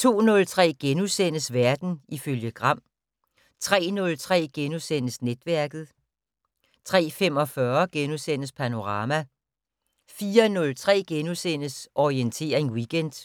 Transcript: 02:03: Verden ifølge Gram * 03:03: Netværket * 03:45: Panorama * 04:03: Orientering Weekend *